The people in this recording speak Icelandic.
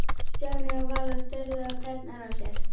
Stjáni og Vala störðu á tærnar á sér.